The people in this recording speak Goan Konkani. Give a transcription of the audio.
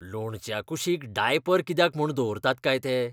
लोणच्या कुशीक डायपर कित्याक म्हूण दवरतात काय ते?